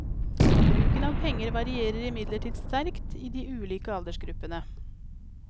Bruken av penger varierer imidlertid sterkt i de ulike aldersgruppene.